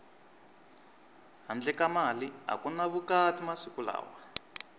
handle ka mali aku ni vukati masiku lawa